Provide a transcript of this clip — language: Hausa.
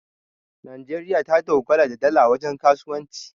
najeriya ta dogara da dala wajen kasuwanci